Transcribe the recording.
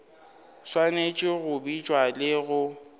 swanetše go bitša le go